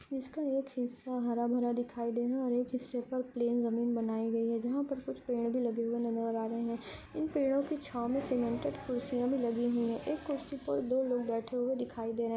इसका एक हिस्सा हरा भरा दिखाई दे रहा है और एक हिस्सा पर प्लेन जमीन बनाई गई है जहाँ पर कुछ पेड़ भी लगे हुए नजर आ रहे हैं इन पेड़ों की छांव में सीमेंटेड कुर्सियाँ भी लगी हुई है कुर्सी पर दो लोग बैठे हुए दिखाई दे रहे है।